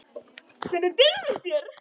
Hvernig dirfist þér.